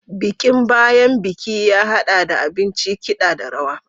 Bikin bayan bikin ya haɗa da abinci, kiɗa, da rawa.